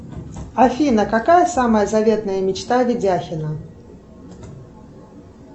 афина какая самая заветная мечта видяхина